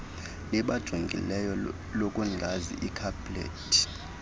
libajongileyo lokungazi ikhapleti